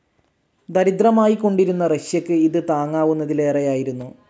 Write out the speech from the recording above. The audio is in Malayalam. ദരിദ്രമായിക്കൊണ്ടിരുന്ന റഷ്യക്ക് ഇത് താങ്ങാവുന്നതിലേറെയായിരുന്നു.